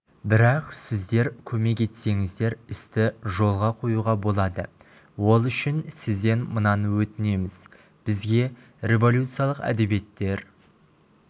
бірақ сіздер көмек етсеңіздер істі жолға қоюға болады ол үшін сізден мынаны өтінеміз бізге революциялық әдебиеттер